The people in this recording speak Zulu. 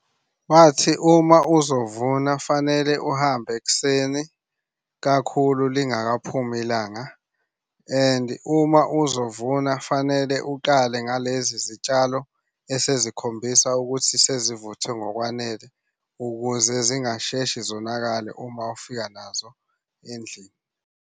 Bathi uma uzovuna fanele uhambe ekuseni kakhulu lingakaphumi ilanga. And uma uzovuna fanele ukale ngalezi zitshalo esezikhombisa ukuthi sezivuthwe ngokwanele, ukuze zingasheshi zonakale uma ufika nazo endlini.